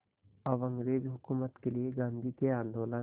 अब अंग्रेज़ हुकूमत के लिए गांधी के आंदोलन